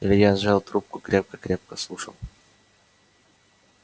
илья сжал трубку крепко-крепко слушал